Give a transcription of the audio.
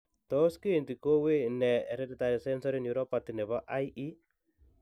Tos kiinti ko wuuy nee hereditary sensory neuropathy nebo IE.